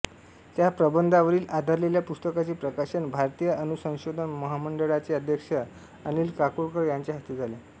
त्या प्रबंधावरील आधारलेल्या पुस्तकाचे प्रकाशन भारतीय अणुसंशोधन महामंडळाचे अध्यक्ष अनिल काकोडकर यांच्या हस्ते झाले